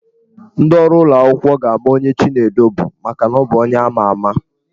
Ndị ọrụ ụlọ akwụkwọ ga-ama onye Chinedu bụ maka na ọ bụ onye ama ama.